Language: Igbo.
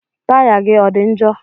Taya gị ọ dị njọ?